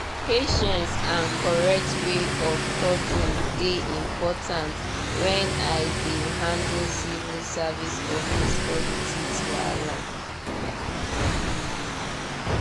patience and correct way of talking dey important when i dey handle civil service office politics wahala.